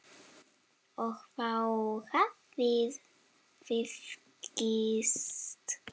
Og þá hafið þið gifst?